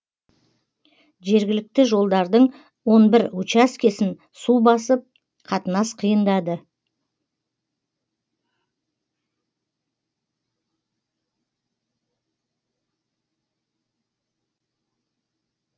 жергілікті жолдардың он бір учаскесін су басып қатынас қиындады